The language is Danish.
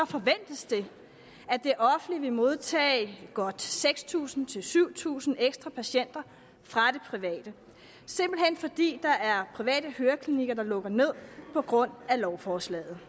forventes det at det offentlige vil modtage godt seks tusind syv tusind ekstra patienter fra det private simpelt hen fordi der er private høreklinikker der lukker ned på grund af lovforslaget